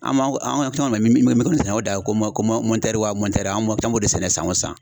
An b'an an b'an min min kɔni sɛnɛ o dan ye ko wa anw b'o de sɛnɛ san o san